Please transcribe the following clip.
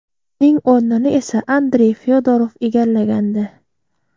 Uning o‘rnini esa Andrey Fyodorov egallagandi .